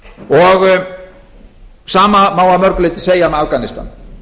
og sama má að mörgu leyti segja um afganistan